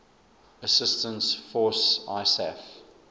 assistance force isaf